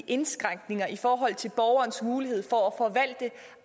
indskrænkninger i forhold til borgerens mulighed for at forvalte